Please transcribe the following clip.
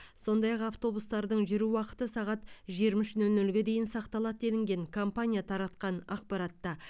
сондай ақ автобустардың жүру уақыты сағат жиырма үш нөл нөлге дейін сақталады делінген компания таратқан ақпаратта